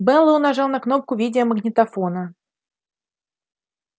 мэллоу нажал на кнопку видеомагнитофона